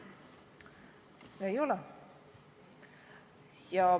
Ei ole.